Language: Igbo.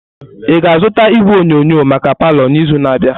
Ị ga-azụta igwe onyonyo maka palọ n'izu na-abịa?